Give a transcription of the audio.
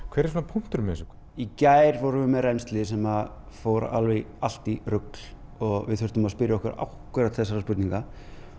hver er punkturinn með þessu í gær vorum við með rennsli sem fór allt í rugl og við þurftum að spyrja okkur okkur einmitt þessarar spurningar